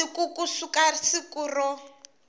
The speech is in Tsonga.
masiku ku suka siku ro